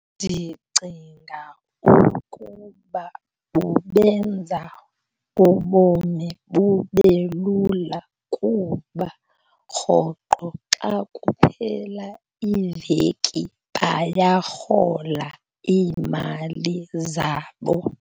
Ndicinga ukuba bubenza ubomi bube lula kuba rhoqo xa kuphela iveki bayarhola iimali zabo.